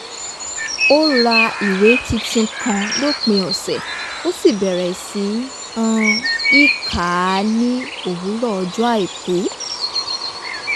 ó ra ìwé tuntun kan lópin ọ̀sẹ̀ ó sì bẹ̀rẹ̀ sí um í kà á ní òwúrọ̀ ọjọ́ àìkú